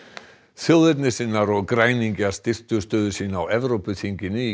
þjóðernissinnar og græningjar styrktu stöðu sína á Evrópuþinginu í